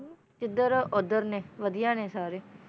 ਇੱਧਰ ਉੱਧਰ ਨੇ ਵਧੀਆ ਨੇ ਸਾਰੇ